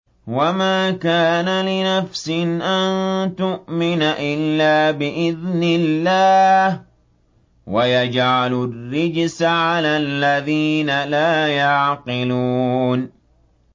وَمَا كَانَ لِنَفْسٍ أَن تُؤْمِنَ إِلَّا بِإِذْنِ اللَّهِ ۚ وَيَجْعَلُ الرِّجْسَ عَلَى الَّذِينَ لَا يَعْقِلُونَ